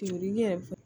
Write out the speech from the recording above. yɛrɛ